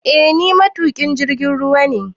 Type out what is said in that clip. Eh ni matuƙin jirgin ruwa ne